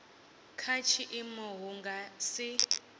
kha tshiimo hu nga si